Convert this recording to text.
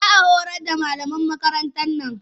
Za a horar da malaman makarantar nan